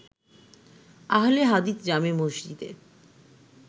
আহলে হাদিস জামে মসজিদে